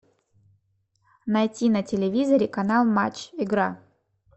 найти на телевизоре канал матч игра